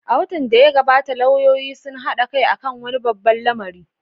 A watan da ya gabata, lauyoyin sun haɗa kai kan wani babban lamari.